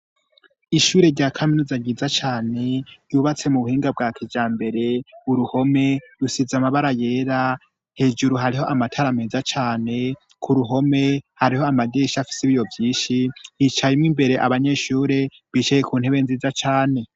Ishure rya kaminuza nyiza caner yubatse mu buhinga bwa kijambere. Uruhome rusize amabara yera hejuru hariho amatarameza cyane ku ruhome hariho amadirisha afise ibiyo vyishi yicayemo imbere abanyeshure bicaye ku ntebe nziza cane.